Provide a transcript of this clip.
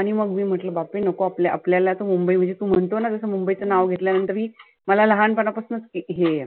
आणि मग मी म्हटलं बापरे नको आप आपल्या तर मुंबई मध्ये तु म्हणतो ना जसं मुंबईच नाव घेतल्या नंतरही मला लहानपणा पासनं एक हे आहे.